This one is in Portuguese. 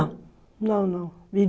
Não, não.